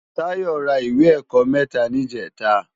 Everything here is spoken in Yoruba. Tayo rá iwé èkò mètá nijètá